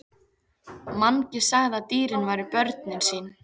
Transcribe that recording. Mangi sagði að dýrin væru börnin sín.